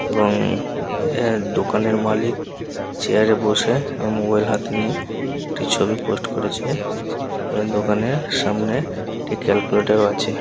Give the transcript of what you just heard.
এবং আ দোকানের মালিক চেয়ারে বসে এবং মোবাইল হাতে নিয়ে একটি ছবি পোস্ট করেছে এবং দোকানের সামনে একটি ক্যালকুলেটর ও আছে--